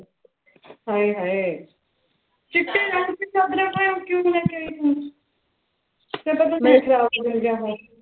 ਹਾਏ ਹਾਏ ਚਿੱਟੇ ਰੰਗੀ ਦੀਆਂ ਚਾਦਰਾਂ ਕਿਉਂ ਲੈ ਕੇ ਆਈ ਤੂੰ ਫਿਰ ਤੂੰ